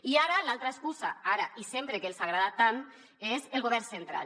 i ara l’altra excusa ara i sempre que els agrada tant és el govern central